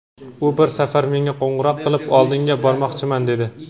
u bir safar menga qo‘ng‘iroq qilib, "Oldingga bormoqchiman", dedi.